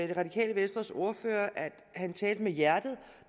det radikale venstres ordfører at han talte med hjertet